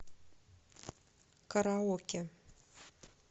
караоке